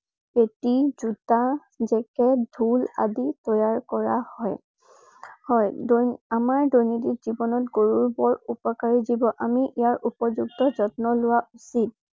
Patty জোতা jacket ঢোল আদি তৈয়াৰ কৰা হয়। হয় আমাৰ দৈনন্দিন জীৱনত গৰুৰ বৰ উপকাৰী জীৱ। আমি ইয়াৰ উপযুক্ত যত্ন লোৱা উচিত।